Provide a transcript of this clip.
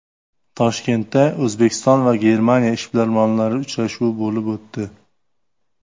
Toshkentda O‘zbekiston va Germaniya ishbilarmonlari uchrashuvi bo‘lib o‘tdi.